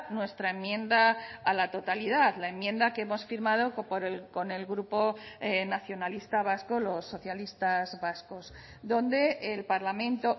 nuestra enmienda a la totalidad la enmienda que hemos firmado con el grupo nacionalista vasco los socialistas vascos donde el parlamento